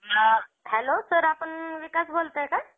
अ hello sir आपण विकास बोलताय का?